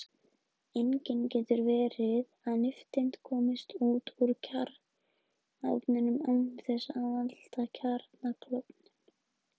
Einnig getur verið að nifteind komist út úr kjarnaofninum án þess að valda kjarnaklofnun.